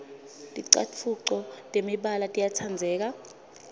ticatfuco temibala tiyatsandzeka